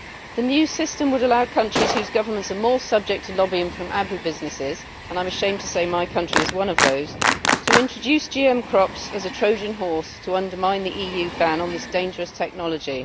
The new system would allow countries whose governments are more subject to lobbying from agribusinesses and I am ashamed to say that my country is one of those to introduce GM crops as a Trojan horse to undermine the EU ban on this dangerous technology.